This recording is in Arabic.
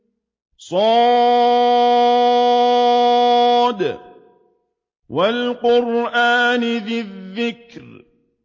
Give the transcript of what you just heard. ص ۚ وَالْقُرْآنِ ذِي الذِّكْرِ